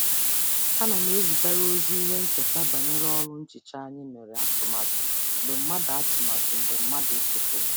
Ana m ezigara ozi ihe ncheta banyere ọrụ nhicha anyị mere atụmatụ mgbe mmadụ atụmatụ mgbe mmadụ chefuru.